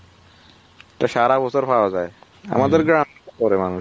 সারা বছর পাওয়া যাই গ্রাম করে মানুষ